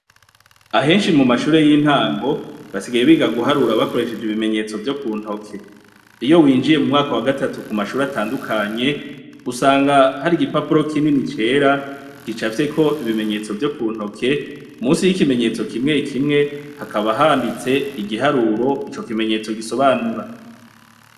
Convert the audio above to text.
Ahenshi mu mashure y'intango basigaye biga guharura bakoresheje ibimenyetso vyo ku ntoke, iyo winjiye mu mwaka wa gatatu ku mashure atandukanye, usanga hari igipapuro kinini cera gicafyeko ibimenyetso vyo ku ntoke munsi y'ikimenyetso kimwe kimwe hakaba handitse igiharuro ico kimenyetso gisobanura.